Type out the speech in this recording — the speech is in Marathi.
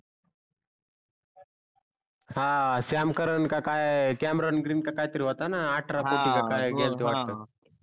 हा श्याम कारण का काय cameron green का काही तरी होता णा अठरा कोटी का कही केलत वाटते हा बरोबर